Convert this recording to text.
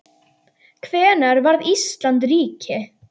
Hvenær varð Ísland ríki?